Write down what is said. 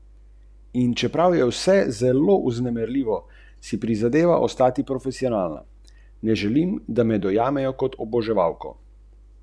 Dvakrat sem že izgubil finalno serijo.